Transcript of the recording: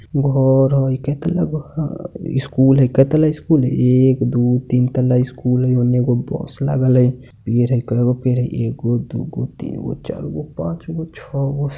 घर हई कए तल्ला घ स्कूल हई कए तल्ला स्कूल हई एक दू तीन तल्ला स्कूल हई ओन्ने एगो बस लागल हई पेड़ हई कएगो पेड़ हई एगो दुगो तीनगो चारगो पाँचगो छगो।